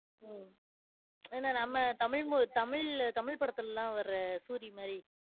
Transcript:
உம் என்ன நம்ம தமிழ் mo~ தமிழ் தமிழ் படத்துலலாம் வர சூரி மாரி.